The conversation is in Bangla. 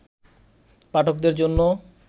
পাঠকদের জন্য